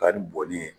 Ka ni bɔnni ye